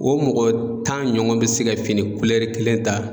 O mɔgɔ tan ɲɔgɔn be se ka fini kulɛri kelen ta